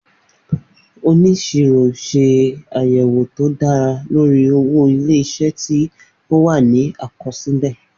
Oníṣirọ ṣe àyẹ̀wò tó dára lórí owó ilé-isé tí ó wà ní àkọsílẹ̀